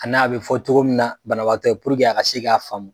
A n'a be fɔ togo min na banabatɔ ye puruke a ka se k'a faamu